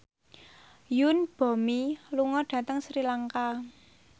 Yoon Bomi lunga dhateng Sri Lanka